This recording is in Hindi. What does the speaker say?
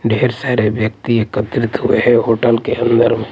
ढेर सारे व्यक्ति एकत्रित हुए हैं होटल के अंदर ।